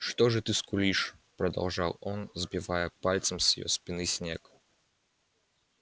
что же ты скулишь продолжал он сбивая пальцем с её спины снег